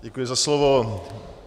Děkuji za slovo.